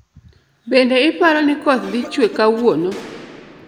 Bende iparo ni koth dhi chwe kawuono